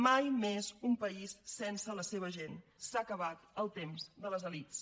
mai més un país sense la seva gent s’ha acabat el temps de les elits